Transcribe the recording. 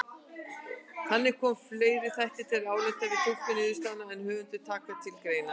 Þannig koma fleiri þættir til álita við túlkun niðurstaðnanna en höfundar taka til greina.